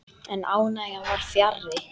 En ánægjan var fjarri.